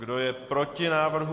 Kdo je proti návrhu?